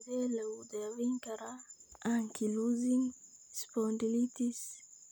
Sidee lagu daweyn karaa ankylosing spondylitis?